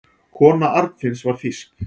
Kona Arnfinns var þýsk.